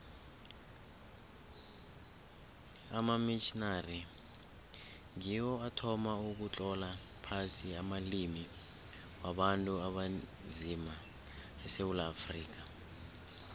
amamitjhnari ngiwo athoma ukutlola phasi amalimi wabantu abanzima esewula afrika